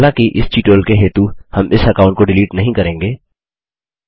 हालाँकि इस ट्यूटोरियल के हेतु हम इस अकाउंट को डिलीट नहीं करेंगे